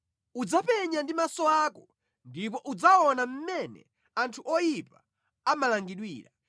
Udzapenya ndi maso ako ndipo udzaona mmene anthu oyipa amalangidwira.